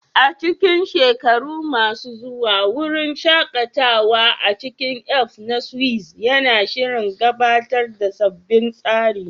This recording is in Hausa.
A cikin shekaru masu zuwa, wurin shaƙatawa a cikin Alps na Swiss yana shirin gabatar da sabbin tsari